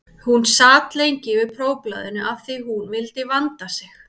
Hún sat lengi yfir prófblaðinu af því að hún vildi vanda sig.